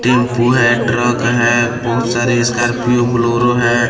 Tempo है truck है बहुत सारे स्कार्पियो ब्लोरो है।